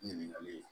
Ɲininkali